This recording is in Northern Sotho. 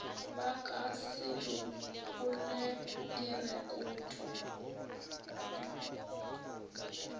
ba ka se lekole direkoto